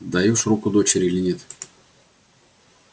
отдаёшь руку дочери или нет